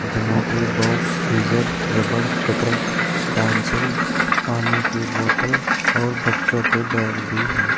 Geometry box eraser रबड़ cutter pencil पानी की बोतल और बच्चों के बैग भी है।